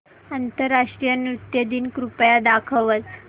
आंतरराष्ट्रीय नृत्य दिन कृपया दाखवच